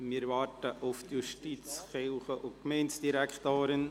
Wir warten auf die Justiz-, Kirchen- und Gemeindedirektorin.